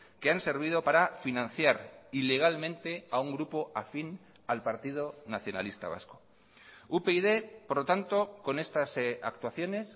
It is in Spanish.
que han servido para financiar ilegalmente a un grupo afín al partido nacionalista vasco upyd por lo tanto con estas actuaciones